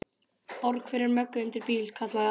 Borg fyrir Möggu undir bíl, kallaði Alli.